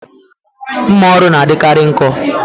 Mmà ọrụ n'adikari nkọ